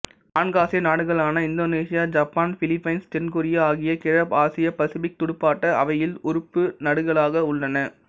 நான்கு ஆசிய நாடுகளான இந்தோனீசியா ஜப்பான் பிலிப்பீன்ஸ் தென் கொரியா ஆகியன கிழக்காசியபசிபிக் துடுப்பாட்ட அவையில் உறுப்பு நடுகளாக உள்ளன